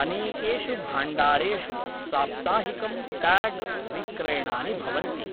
अनेकेषु भाण्डारेषु साप्ताहिकं टाग् विक्रयणानि भवन्ति,